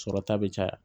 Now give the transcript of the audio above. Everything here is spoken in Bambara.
Sɔrɔta bɛ caya